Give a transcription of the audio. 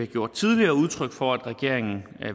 gjort tidligere udtryk for at regeringen